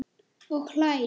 Og hlær.